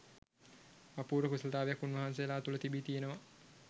අපූර්ව කුසලතාවක් උන්වහන්සේලා තුළ තිබී තියෙනවා